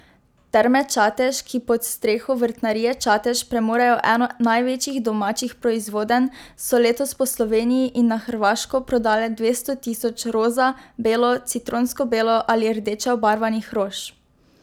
Terme Čatež, ki pod streho Vrtnarije Čatež premorejo eno največjih domačih proizvodenj, so letos po Sloveniji in na Hrvaško prodale dvesto tisoč roza, belo, citronsko belo ali rdeče obarvanih rož.